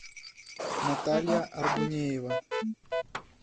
наталья аргунеева